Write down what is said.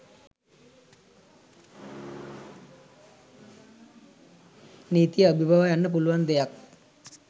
නීතිය අභිබවා යන්න පුළුවන් දෙයක්.